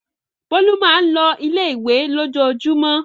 Bólú máa ń lọ ilé-ìwé lójoojúmọ́.